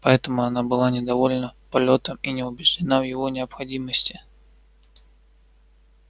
поэтому она была недовольна полётом и не убеждена в его необходимости